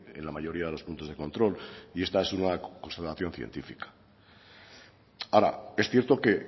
en la mayoría de los puntos de control y esta es una constatación científica ahora es cierto que